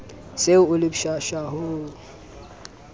se o le pshasha ho